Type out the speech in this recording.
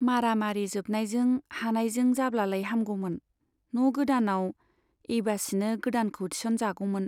मारा मारि जोबनायजों हानायजों जाब्लालाय हामगौमोन , न' गोदानाव एइबासिनो गोदानखौ थिस'न जागौमोन।